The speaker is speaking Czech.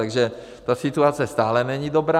Takže ta situace stále není dobrá.